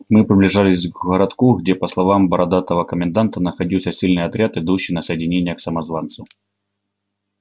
мы приближались к городку где по словам бородатого коменданта находился сильный отряд идущий на соединение к самозванцу